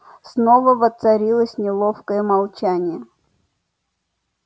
снова воцарилось неловкое молчание